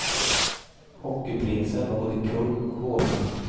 Hockeyprinsen var både kung och hovnarr.